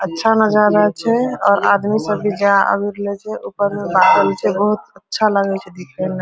अच्छा नजारा अच्छा छै और आदमी सब भी जाय आबी रहल छै ऊपर मे बादल छै बहुत अच्छा लगे छै दिखे में।